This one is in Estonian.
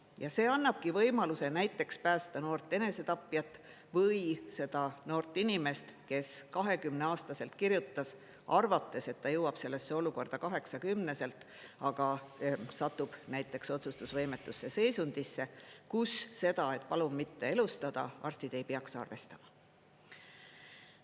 Ja see annabki võimaluse näiteks päästa noort enesetapjat või seda noort inimest, kes 20-aastaselt kirjutas, arvates, et ta jõuab sellesse olukorda kaheksakümneselt, aga satub näiteks otsustusvõimetus seisundisse, kus seda, et palun mitte elustada, arstid ei peaks arvestama.